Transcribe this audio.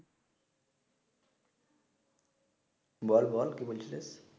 বল বল কি বলছিলিস?